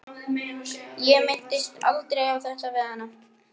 Ég minntist aldrei á þetta við hana.